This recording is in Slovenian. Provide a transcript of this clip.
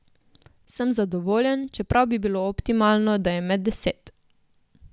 Sem zadovoljen, čeprav bi bilo optimalno, da je med deset.